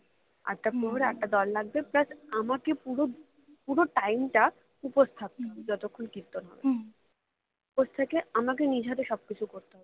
আটটা প্রহরে আটটা দল লাগবে plus আমাকে পুরো পুরো time টা উপোস থাকতে হবে যতক্ষণ কীর্তন হবে উপোস থেকে আমাকে নিজের হাতে সবকিছু করতে হবে